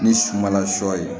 Ni sumala sɔ ye